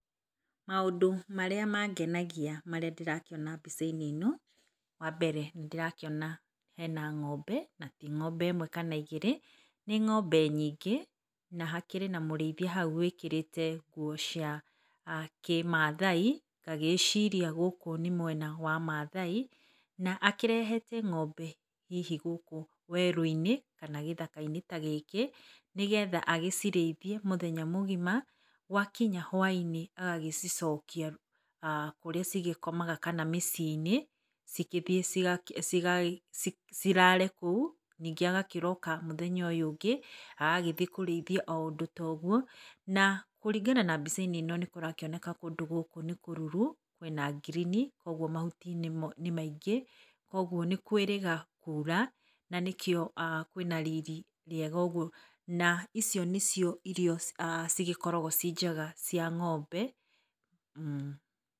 Maũndũ marĩa mangenagia marĩa ndĩrakĩona mbica-inĩ ĩno, wa mbere, nĩ ndĩrakĩona hena ngombe, na ti ngombe ĩmwe kana igĩrĩ, nĩ ngombe nyingĩ, na hakĩrĩ na mũrĩithia hau wĩkĩrĩte nguo cia kĩmathai. Ngagĩciria gũkũ nĩ mwena wa Mathai, na akĩrehete ng'ombe hihi gũkũ werũ-inĩ, kana gĩthaka-inĩ tagĩkĩ, nĩgetha agĩcirĩithie mũthenya mũgima, gwakinya hwainĩ agagĩcicokia kũrĩa cigĩgĩkomaga, kana mĩciĩ-inĩ, cigĩthiĩ ciga ciga cirare kũu, ningĩ agakĩroka mũthenya ũyũ ũngĩ, agagĩthiĩ kũrĩithia o ũndũ ta ĩguo, na kũringana na mbica-inĩ ĩno, nĩ kũrakĩoneka kũndũ gũkũ nĩ kũruru, kwĩna ngirini, koguo mahuti nĩ maingĩ, koguo nĩ kwĩĩrĩga kura, nanĩkĩo kwĩna riri rĩega ũguo, na icio nĩcio irio cigĩkoragwo cĩnjega cia ngombe,[mmh].